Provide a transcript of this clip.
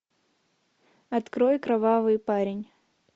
открой кровавый парень